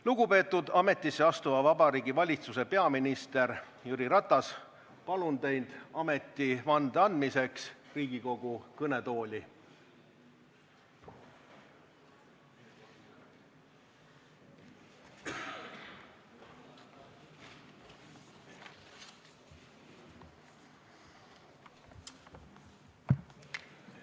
Lugupeetud ametisse astuva Vabariigi Valitsuse peaminister Jüri Ratas, palun teid ametivande andmiseks Riigikogu kõnetooli!